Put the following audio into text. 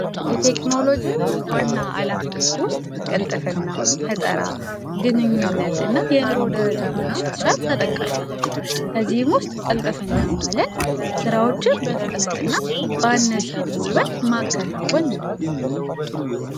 የቴክኖሎጅ ዋና ዓላማ ውስጥ ቅልጥፍና ግንኙነት እና የኑሮ ደረጃ ማሻሻል ተጠቃሽ ናቸው። በዚህም ውስጥ ቅልጥፍና ማለት ስራዎችን በፍጥነትና ባነሰ ጉልበት ማከናወን ነው።